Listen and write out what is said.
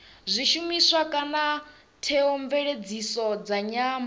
zwishumiswa kana theomveledziso dza nyambo